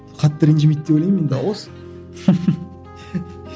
қатты ренжімейді деп ойлаймын енді